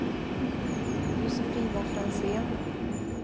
Josefina Franzén